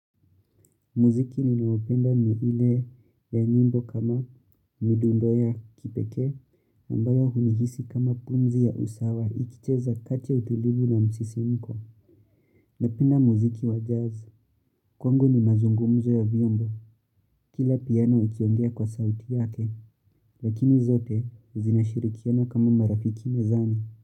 Muziki niliyoipenda ni ile ya nymbo kama midundo ya kipekee ambayo hunihisi kama pumzi ya usawa ikicheza kati ya utulivu na msisi mko. Napenda muziki wa jazz. Kwangu ni mazungumuzo ya vyombo. Kila piano ikiongea kwa sauti yake lakini zote zinashirikiana kama marafiki mezani.